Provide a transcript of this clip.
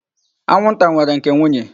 Anwụnta nwere nke nwunye.